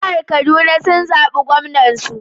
Jihar Kaduna sun zabi Gwamnan su.